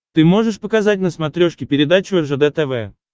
ты можешь показать на смотрешке передачу ржд тв